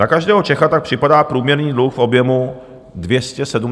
Na každého Čecha tak připadá průměrný dluh v objemu 275 000 korun.